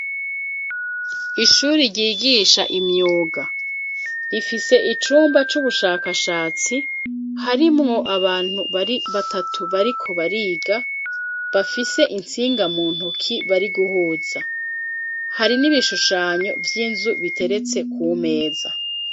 Ishuri ryigisha imyuga rifise icumba c`ubushakashatsi harimwo abantu batatu bariko bariga bafise iintsinga mu ntoki bari guhuza hari n`ibishushanyo vy`inzu biteretse ku meza.